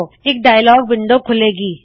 ਇਕ dialogue window ਖੁੱਲੇ ਗੀ